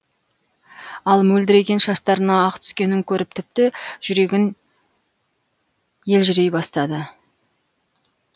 ал мөлдіреген шаштарына ақ түскенін көріп тіпті жүрегін елжірей бастады